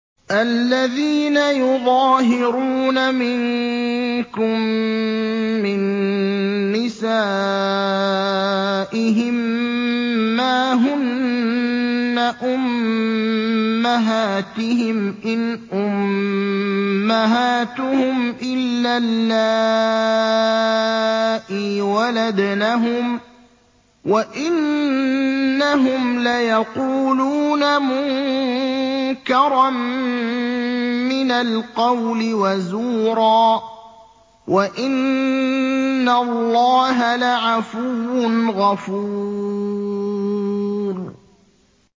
الَّذِينَ يُظَاهِرُونَ مِنكُم مِّن نِّسَائِهِم مَّا هُنَّ أُمَّهَاتِهِمْ ۖ إِنْ أُمَّهَاتُهُمْ إِلَّا اللَّائِي وَلَدْنَهُمْ ۚ وَإِنَّهُمْ لَيَقُولُونَ مُنكَرًا مِّنَ الْقَوْلِ وَزُورًا ۚ وَإِنَّ اللَّهَ لَعَفُوٌّ غَفُورٌ